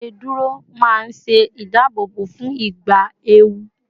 iṣeduro ma n se ìdáàbòbò fún ìgbà ewu